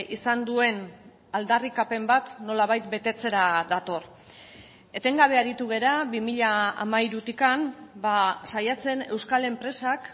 izan duen aldarrikapen bat nolabait betetzera dator etengabe aritu gara bi mila hamairutik saiatzen euskal enpresak